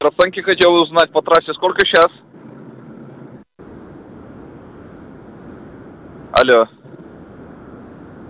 расценки хотел узнать по трассе сколько сейчас алло